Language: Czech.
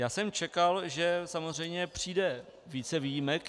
Já jsem čekal, že samozřejmě přijde více výjimek.